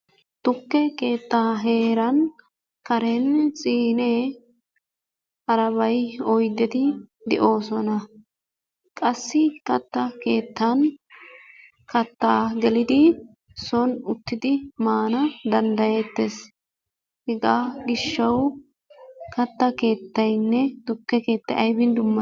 Tukke keetta heeran karen siine harabay oydeti de'oosona. Qassi katta keettan kattaa gelidi soon uttidi maana danddayyetees. Hegaa gishawu katta keettaynne tukke keettay aybbin dummati?